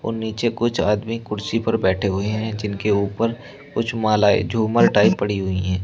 और नीचे कुछ आदमी कुर्सी पर बैठे हुए हैं जिनके ऊपर कुछ मालाएं झूमर टाइप पड़ी हुई है।